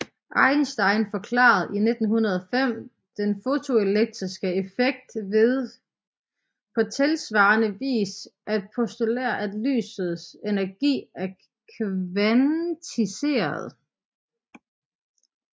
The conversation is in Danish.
Einstein forklarede i 1905 den fotoelektriske effekt ved på tilsvarende vis at postulere at lysets energi er kvantiseret